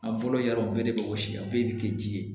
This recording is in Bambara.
An fɔlɔ yarɔ bɛɛ de bɛ wɔsi a bɛɛ de tɛ ji ye